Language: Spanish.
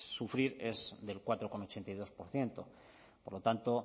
sufrir es del cuatro coma ochenta y dos por ciento por lo tanto